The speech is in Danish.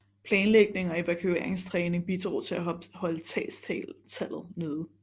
Planlægning og evakueringstræning bidrog til at holde tabstallet nede